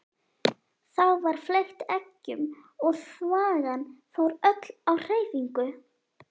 Þá var fleygt eggjum og þvagan fór öll á hreyfingu.